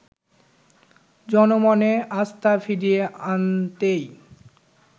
জনমনে আস্থা ফিরিয়ে আনতেই